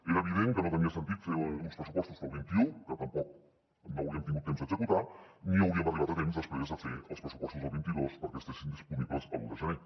era evident que no tenia sentit fer uns pressupostos per al vint un que tampoc no hauríem tingut temps d’executar los ni hauríem arribat a temps després a fer els pressupostos del vint dos perquè estiguessin disponibles l’un de gener